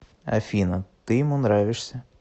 афина ты ему нравишься